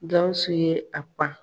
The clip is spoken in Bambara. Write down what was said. Gawusu ye a pan.